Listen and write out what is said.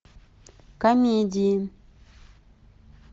комедии